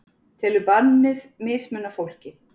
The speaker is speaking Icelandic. Telur bannið mismuna fólki